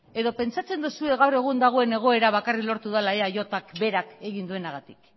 edo pentsatzen duzue gaur egun dagoen egoera bakarrik lortu dela eajk berak egin duenagatik